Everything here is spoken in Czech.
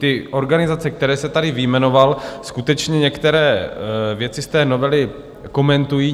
Ty organizace, které jste tady vyjmenoval, skutečně některé věci z té novely komentují.